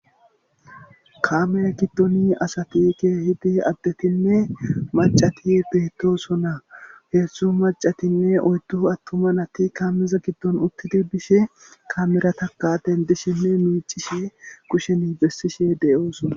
kaamere giddoni asatike hidi addetinne macati biitosona heessu macatinne oydu attumanati kaameza giddon uttiti bishe kaamera taka dendishinne miicishe kusheni bessishe deyoosona